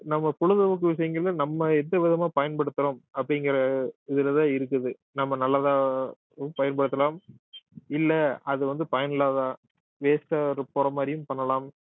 நம்ம பொழுதுபோக்கு விஷயங்கள்ல நம்ம எந்த விதமா பயன்படுத்துறோம் அப்படிங்கிற இதுலதான் இருக்குது நம்ம நல்லதா பயன்படுத்தலாம் இல்லை அது வந்து பயனில்லாத waste ஆ போற மாதிரியும் பண்ணலாம்